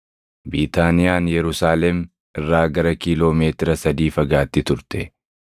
Biitaaniyaan Yerusaalem irraa gara kiiloo meetira sadii fagaatti turte;